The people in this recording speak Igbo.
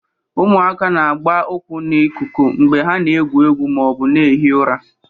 Ụmụaka na-agba ụkwụ ha n'ikuku mgbe ha na-egwu egwu ma ọ bụ na-ehi ụra.